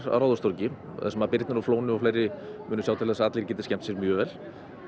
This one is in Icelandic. á Ráðhústorgi þar sem Birnir og Flóni og fleiri sjá til að allir skemmti sér mjög vel